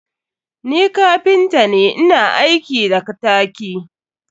Ni kapinta ne, ina aiki da ktaki.